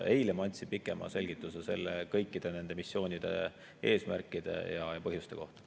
Eile ma andsin pikema selgituse kõikide nende missioonide eesmärkide ja põhjuste kohta.